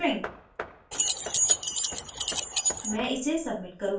6 character string